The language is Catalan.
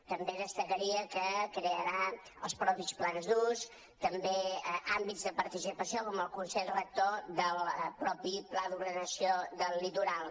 també destacaria que crearà els mateixos plans d’ús també àmbits de participació com el consell rector del mateix pla d’ordenació del litoral